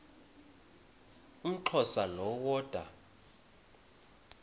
umxhosa lo woda